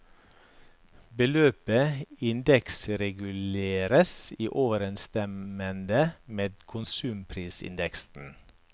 Beløpet indeksreguleres i overensstemmende med konsumprisindeksen.